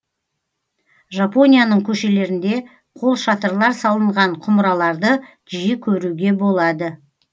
жапонияның көшелерінде қолшатырлар салынған құмыраларды жиі көруге болады